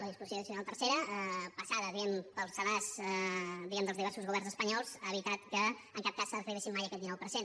la disposició addicional tercera passada diguem ne pel sedàs dels diversos governs espanyols no ha evitat que en cap cas arribéssim mai a aquest dinou per cent